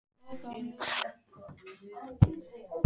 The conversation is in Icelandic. Ef það þá finnst nokkurn tímann.